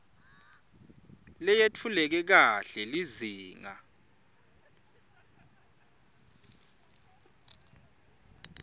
leyetfuleke kahle lizinga